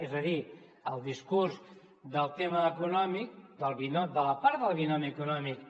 és a dir el discurs del tema econòmic de la part del binomi econòmic